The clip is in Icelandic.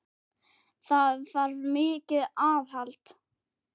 Það þarf mikið aðhald.